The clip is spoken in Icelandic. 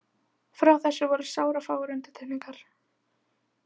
Frá þessu voru sárafáar undantekningar.